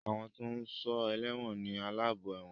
Àwọn tó ń sọ ẹlẹ́wọ̀n ni aláàbò ẹ̀wọ̀n